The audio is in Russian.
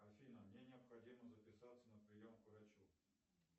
афина мне необходимо записаться на прием к врачу